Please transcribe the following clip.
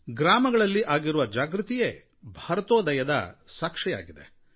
ಗ್ರಾಮಗಳಲ್ಲಿ ಆಗಿರುವ ಜಾಗೃತಿಯೇ ಭಾರತೋದಯಕ್ಕೆ ಸಾಕ್ಷಿಯಾಗಿದೆ